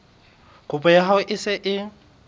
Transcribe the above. kopo ya hao e se